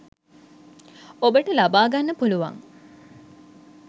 ඔබට ලබා ගන්න පුළුවන්.